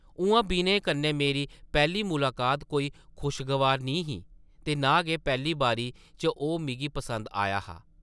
उʼआं विनय कन्नै मेरी पैह्ली मुलाकात कोई खुशगवार निं ही, ते नां गै पैह्ली बारी च ओह् मिगी पसंद आया हा ।